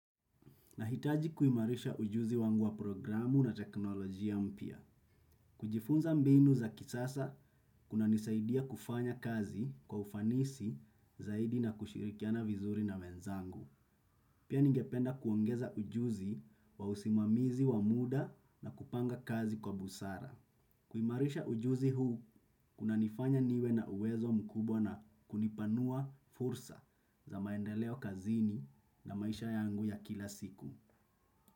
Nahitaji kuimarisha ujuzi wangu wa programu na teknolojia mpya. Kujifunza mbinu za kisasa, kuna nisaidia kufanya kazi kwa ufanisi zaidi na kushirikiana vizuri na wenzangu. Pia ningependa kuongeza ujuzi wa usimamizi wa muda na kupanga kazi kwa busara. Kuimarisha ujuzi huu, kuna nifanya niwe na uwezo mkubwa na kunipanua fursa za maendeleo kazini na maisha yangu ya kila siku.